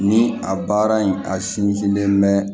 Ni a baara in a sinsinnen mɛ